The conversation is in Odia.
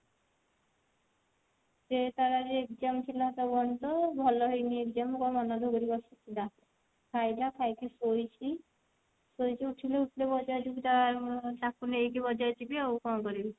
ସେ ତାର ଆଜି exam ଥିଲା ତ ଭଲ ହେଇନି exam କଣ ମନ ଦୁଖ କରିକି ବସିଥିଲା ଖାଇଲା ଖାଇକି ଶୋଇଛି ଉଠିଲେ ବଜାର ଯିବୁ ତାର ତାକୁ ନେଇକି ବଜାର ଜିବି ଆଉ କଣ କରିବି